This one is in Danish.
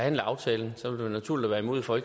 en aftale